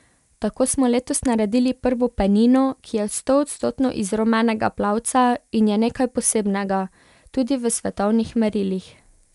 Tako smo letos naredili prvo penino, ki je stoodstotno iz rumenega plavca in je nekaj posebnega, tudi v svetovnih merilih.